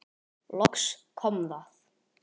Loks kom það.